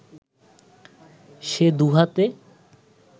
সে দুহাতে